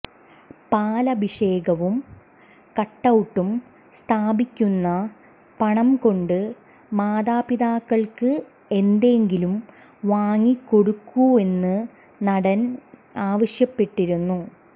പാലഭിഷേകവും കട്ടൌട്ടും സ്ഥാപിക്കുന്ന പണം കൊണ്ട് മാതാപിതാക്കള്ക്ക് എന്തെങ്കിലും വാങ്ങിക്കൊടുക്കൂവെന്നും നടന് ആവശ്യപ്പെട്ടിരുന്നു